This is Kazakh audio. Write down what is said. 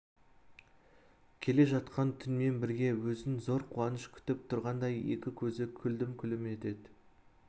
келе жатқан түнмен бірге өзін зор қуаныш күтіп тұрғандай екі көзі күлім-күлім етеді